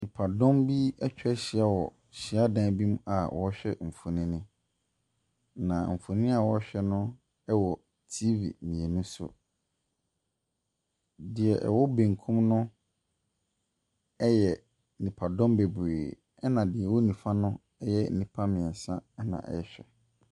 Nipadɔm bi ɛtwa hyia wɔ hyiadan bi mu a ɔrehwɛ nfonni. Na nfonni a ɔrehwɛ no wɔ tv mmienu so. Deɛ ɛwɔ benkum no ɛyɛ nipadɔm bebree ɛna deɛ ɛwɔ nifa no ɛyɛ nipa mmiɛnsa ɛna ɛɛhwɛ.